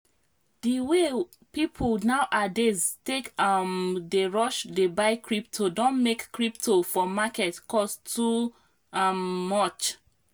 di way people now adays take um dey rush dey buy crypto don make crypo for market cost too um much